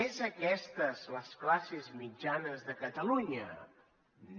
és aquestes les classes mitjanes de catalunya no